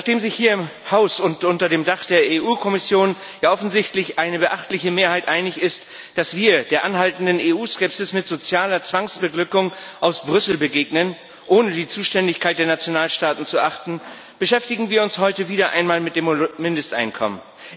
Nachdem sich hier im Haus und unter dem Dach der EU Kommission ja offensichtlich eine beachtliche Mehrheit einig ist, dass wir der anhaltenden EU Skepsis mit sozialer Zwangsbeglückung aus Brüssel begegnen, ohne die Zuständigkeit der Nationalstaaten zu achten, beschäftigen wir uns heute wieder einmal mit dem Mindesteinkommen.